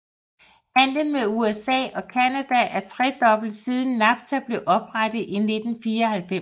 Handlen med USA og Canada er tredoblet siden NAFTA blev oprettet i 1994